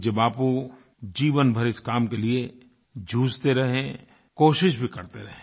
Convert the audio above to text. पूज्य बापू जीवनभर इस काम के लिए जूझते रहे कोशिश भी करते रहे